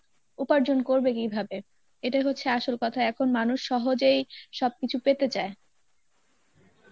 উপার্জন করবে কীভাবে, এটাই হচ্ছে আসল কথা এখন মানুষ সহজেই সবকিছু পেতে চায়